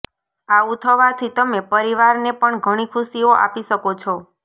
આવુ થવાથી તમે પરિવારને પણ ઘણી ખુશીઓ આપી શકો છો